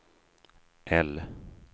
L